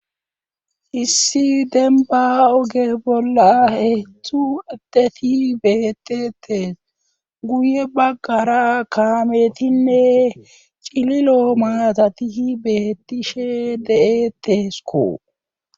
issi denba oge bolla heetztzu adeti beetetes guye baggara kaametinne cililo maatatihi beettishe de7etesko